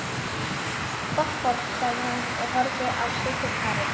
Gott fólk, sagði hún og horfði á sykurkarið.